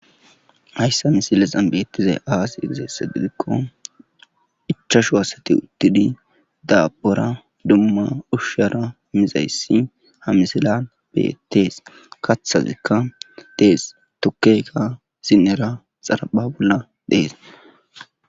hayssa misilesan beettizay aas igizeesse gidikko ichashu asati uttidi daabora dumma ushshara mizayssi hamisila betees kathazikka dees tokkeyka sinnera xarapha bolla dees